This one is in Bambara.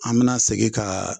An mina segin ka